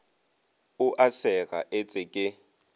o a sega etse ke